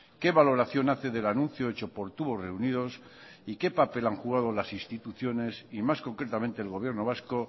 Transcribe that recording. qué valoración hace del anuncio hecho por tubos reunidos y qué papel han jugado las instituciones y más concretamente el gobierno vasco